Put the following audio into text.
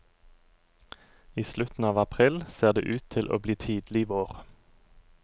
I slutten av april ser det ut til å bli tidleg vår.